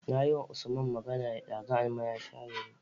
Nayi wa usman magana ɗazu aman ya share ni